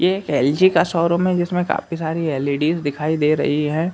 यह एलजी का शोरूम हैं जिसमे काफी सारी एलईडीइस दिखाई दे रही हैं।